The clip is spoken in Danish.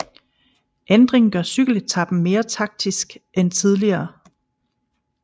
Ændringen gør cykeletapen mere taktisk end tidligere